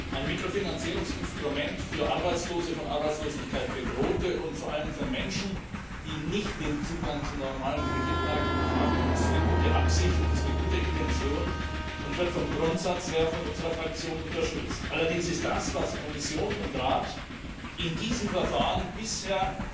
Ein Mikrofinanzierungsinstrument für Arbeitslose, von Arbeitslosigkeit Bedrohte und vor allem für Menschen, die nicht den Zugang zu normalen Kreditmärkten haben, zeugt von guter Absicht und wird vom Grundsatz her von unserer Fraktion unterstützt. Allerdings ist das, was Kommission und Rat in diesem Verfahren bisher